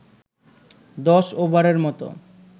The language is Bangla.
দশ ওভারের মতো